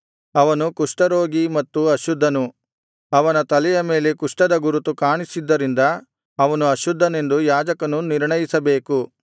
ಅವನು ಕುಷ್ಠರೋಗಿ ಮತ್ತು ಅಶುದ್ಧನು ಅವನ ತಲೆಯ ಮೇಲೆ ಕುಷ್ಠದ ಗುರುತು ಕಾಣಿಸಿದ್ದರಿಂದ ಅವನು ಅಶುದ್ಧನೆಂದು ಯಾಜಕನು ನಿರ್ಣಯಿಸಬೇಕು